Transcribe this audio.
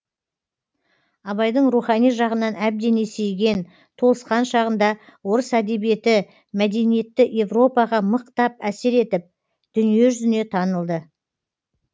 абайдың рухани жағынан әбден есейген толысқан шағында орыс әдебиеті мәдениетті европаға мықтап әсер етіп дүние жүзіне танылды